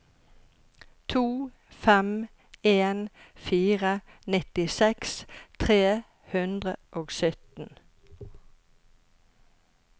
to fem en fire nittiseks tre hundre og sytten